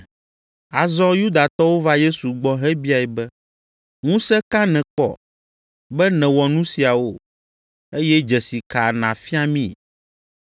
Azɔ Yudatɔwo va Yesu gbɔ hebiae be, “Ŋusẽ ka nèkpɔ, be nèwɔ nu siawo, eye dzesi ka nàfia mí?”